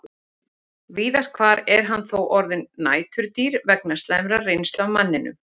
Víðast hvar er hann þó orðinn næturdýr vegna slæmrar reynslu af manninum.